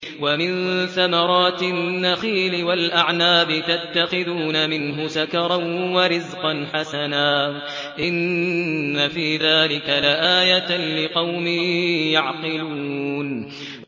وَمِن ثَمَرَاتِ النَّخِيلِ وَالْأَعْنَابِ تَتَّخِذُونَ مِنْهُ سَكَرًا وَرِزْقًا حَسَنًا ۗ إِنَّ فِي ذَٰلِكَ لَآيَةً لِّقَوْمٍ يَعْقِلُونَ